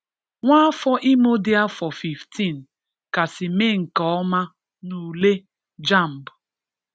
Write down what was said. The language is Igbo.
"Wàfọ̀ Ìmò dị afọ 15 kàsị mee nke ọma n’ùlé JAMB."